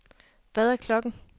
Hvad er klokken